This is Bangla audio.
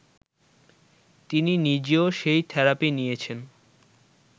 তিনি নিজেও সেই থেরাপি নিয়েছেন